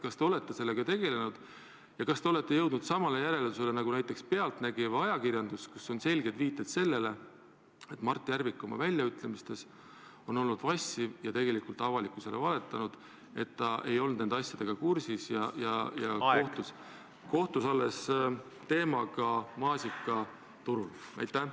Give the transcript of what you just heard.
Kas te olete sellega tegelenud ja kas te olete jõudnud samale järeldusele nagu näiteks "Pealtnägija" või muu ajakirjandus, kus on esitatud selged viited sellele, et Mart Järvik on oma väljaütlemistes olnud vassiv ja avalikkusele valetanud, väites, et ta ei olnud nende asjadega kursis ja puutus selle teemaga kokku alles maasikaturul?